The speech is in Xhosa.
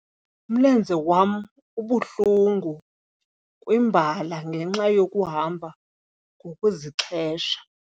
umlenze wam ubuhlungu kwimbala ngenxa yokuhamba ngokuzixhesha.